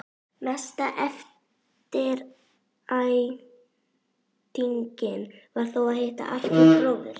Mesta eftirvæntingin var þó að hitta Arthúr bróður.